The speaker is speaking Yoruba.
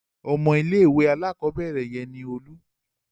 Ọmọ ilé-ìwé alákọ̀ọ́bẹ̀rẹ̀ yẹn ni Olú.